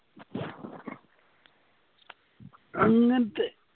അങ്ങനത്തെ